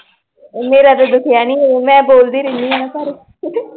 ਮੇਰਾ ਤਾਂ ਦੁਖਿਆ ਨੀਂ ਮੈਂ ਬੋਲਦੀ ਰੇਨੀ ਨਾ ਆ ਘਰ